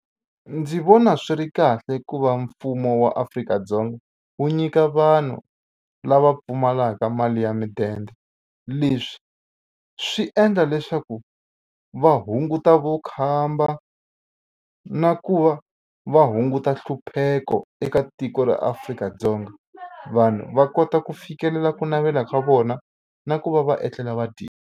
Ndzi vona swi ri kahle ku va mfumo wa Afrika-Dzonga wu nyika vanhu lava pfumalaka mali ya mudende leswi swi endla leswaku va hunguta vukhamba na ku va va hunguta nhlupheko eka tiko ra Afrika-Dzongavanhu va kota ku fikelela ku navela ka vona na ku va va etlela va .